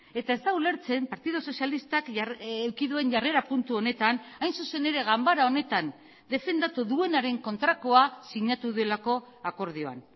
eta ez da ulertzen partidu sozialistak eduki duen jarrera puntu honetan hain zuzen ere ganbara honetan defendatu duenaren kontrakoak sinatu delako akordioan